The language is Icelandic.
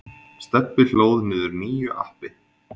Stebbi hlóð niður nýju appi.